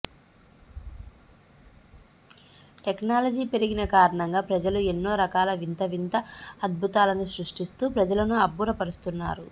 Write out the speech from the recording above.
technology పెరిగిన కారణంగా ప్రజలు ఎన్నో రకాల వింత వింత అద్భుతాలను సృష్టిస్తూ ప్రజలను అబ్బుర పరుస్తున్నారు